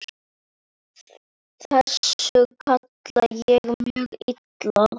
Þessu kann ég mjög illa.